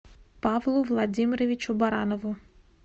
павлу владимировичу баранову